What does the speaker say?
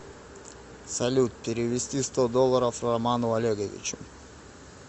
салют перевести сто долларов роману олеговичу